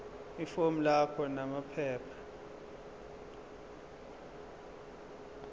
ifomu lakho namaphepha